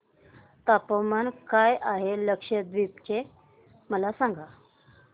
तापमान काय आहे लक्षद्वीप चे मला सांगा